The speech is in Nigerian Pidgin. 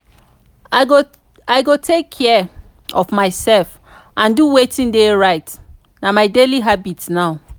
i go take care of myself and do wetin dey right na my daily habit now.